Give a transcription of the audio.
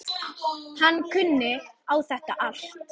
Hann kunni á þetta allt.